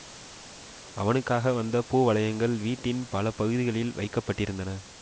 அவனுக்காக வந்த பூவளையங்கள் வீட்டின் பல பகுதிகளில் வைக்க பட்டிருந்தன